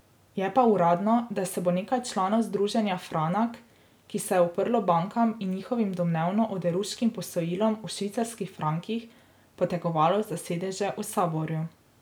Je pa uradno, da se bo nekaj članov združenja Franak, ki se je uprlo bankam in njihovim domnevno oderuškim posojilom v švicarskih frankih, potegovalo za sedeže v saboru.